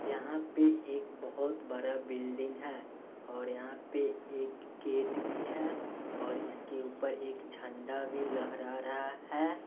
यहां पे एक बहोत बड़ा बिल्डिंग है और यहां पे एक गेट भी है और इसके ऊपर एक झंडा भी लहरा रहा है।